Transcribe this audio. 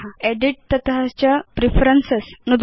edit तत च preferences नुदतु